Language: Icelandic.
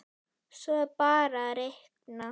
Svo er bara að reikna.